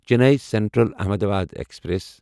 Chennai central Ahmedabad express